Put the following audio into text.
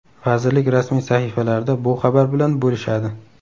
Vazirlik rasmiy sahifalarida bu xabar bilan bo‘lishadi.